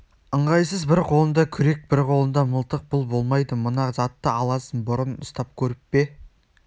ыңғайсыз бір қолыңда күрек бір қолыңда мылтық бұл болмайды мына затты аласың бұрын ұстап көріп пе